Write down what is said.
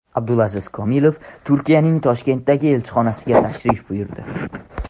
Abdulaziz Komilov Turkiyaning Toshkentdagi elchixonasiga tashrif buyurdi.